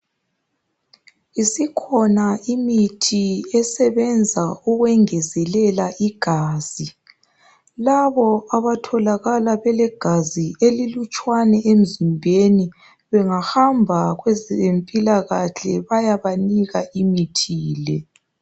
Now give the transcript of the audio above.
Isikhona imithi esebenza ukwengezelela igazi. Labo abatholakala belegazi elilutshwane emzimbeni bengahamba kwezempilakahle bayabanika imithi le.